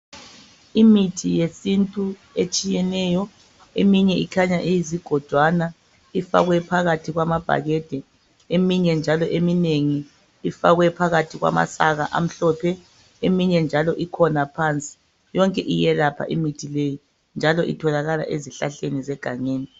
Imithi yesintu etshiyeneyo eminye ikhanya iyizigojwana ifakwe phakathi kwamabhakede, eminye njalo eminengi ifakwe phakathi kwama saka amhlophe, eminye njalo ikhona iphansi. Yonke iyelapha imithi leyi njalo itholakala ezihlahleni zegangeni.